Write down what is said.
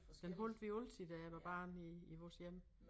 Den holdt vi altid da jeg var barn i vores hjem